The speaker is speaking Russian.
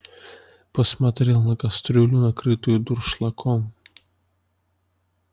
посмотрел на кастрюлю накрытую дуршлагом